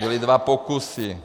Byly dva pokusy.